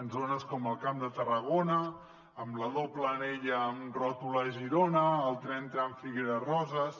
en zones com el camp de tarragona amb la doble anella amb ròtula a girona el tren tram figueres roses